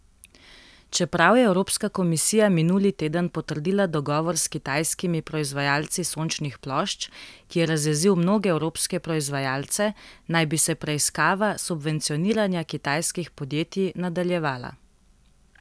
Čeprav je evropska komisija minuli teden potrdila dogovor s kitajskimi proizvajalci sončnih plošč, ki je razjezil mnoge evropske proizvajalce, naj bi se preiskava subvencioniranja kitajskih podjetij nadaljevala.